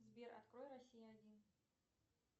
сбер открой россия один